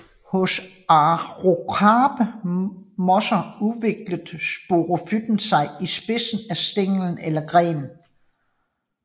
Hos akrokarpe mosser udvikler sporofyten sig i spidsen af stængel eller gren